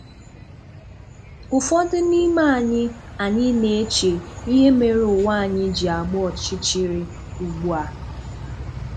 Ụ́fọdụ n’ime anyị anyị na-eche ihe mere ụwa anyị ji agba ọchịchịrị ugbu a